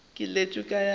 keletšo ya ka go wena